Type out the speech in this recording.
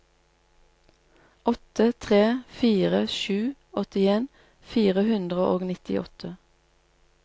åtte tre fire sju åttien fire hundre og nittiåtte